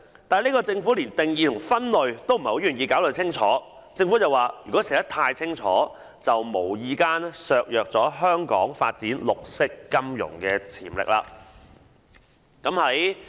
但政府連定義和分類也不願意清楚交代，竟然說如果寫得太清楚，便會"無意間削弱綠色金融的發展潛力"。